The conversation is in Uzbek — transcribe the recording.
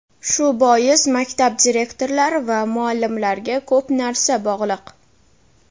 Shu bois maktab direktorlari va muallimlarga ko‘p narsa bog‘liq.